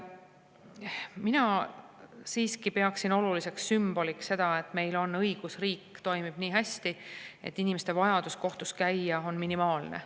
Mina siiski pean oluliseks sümboliks seda, et meil on õigusriik, mis toimib nii hästi, et inimeste vajadus kohtus käia on minimaalne.